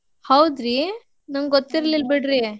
ಹೌದ್ರಿ ನನ್ಗ್ ಗೊತ್ತಿರ್ಲಿಲ್ ಬಿಡ್ರಿ.